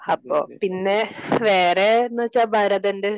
അപ്പോ പിന്നെ വേറെ എന്നു വച്ചാ ഭരതന്റെ